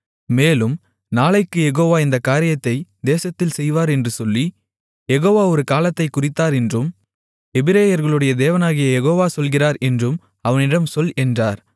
மேலும் நாளைக்குக் யெகோவா இந்தக் காரியத்தை தேசத்தில் செய்வார் என்று சொல்லி யெகோவா ஒரு காலத்தைக் குறித்தார் என்றும் எபிரெயர்களுடைய தேவனாகிய யெகோவா சொல்லுகிறார் என்றும் அவனிடம் சொல் என்றார்